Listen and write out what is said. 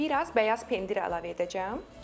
Biraz bəyaz pendir əlavə edəcəm.